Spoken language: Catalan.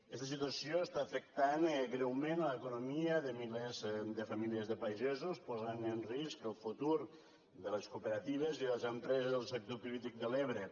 aquesta situació està afectant greument l’economia de milers de famílies de pagesos posant en risc el futur de les cooperatives i les empreses del sector cítric de l’ebre